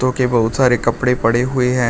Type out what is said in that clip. जो कि बहुत सारे कपड़े पड़े हुए हैं।